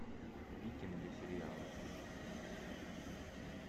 викинги сериал